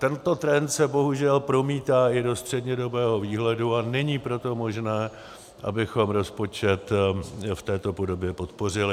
Tento trend se bohužel promítá i do střednědobého výhledu, a není proto možné, abychom rozpočet v této podobě podpořili.